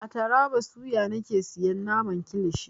A taraba suya nake siyan naman kilishi.